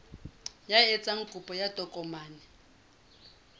ya etsang kopo ya tokomane